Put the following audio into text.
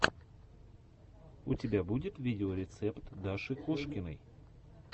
у тебя будет видеорецепт даши кошкиной